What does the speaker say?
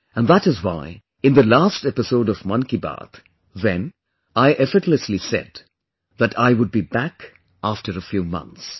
And that is why in the last episode of 'Mann Ki Baat', then, I effortlessly said that I would be back after a few months